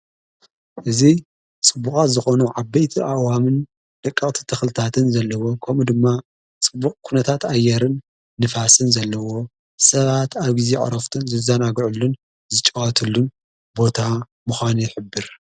እዙ ስቡቓት ዝኾኑ ዓበይቲ ኣእዋምን ደቀቕቲ ተኽልታትን ዘለዎ ከምኡ ድማ ጽቡቕ ኲነታት ኣየርን ንፋስን ዘለዎ ሰባት ኣብ ጊዜ ዕሮፍትን ዝዛናግዑሉን ዝጨዋትሉን ቦታ ምዃነ ይኅብር።